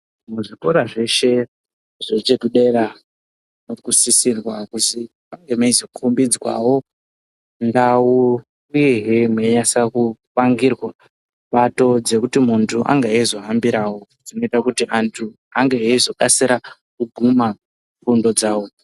Muzvikora zveshe zvekudera zviri kusisirwa kuzi munge mezokombedzwawo ndau uyehe menyasopangirwa pato dzekuti mundu ange ezohambirawo dzimoita kuti andu ange ezokasika kuguma fundo dzawo